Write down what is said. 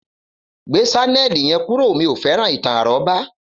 Gbé sánẹ̀lì yen kúrò, mí ọ fẹ́ràn ìtàn àrọ́bá